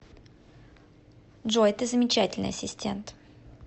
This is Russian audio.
джой ты замечательный ассистент